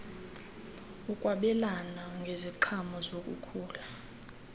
ukwabelana ngeziqhamo zokukhula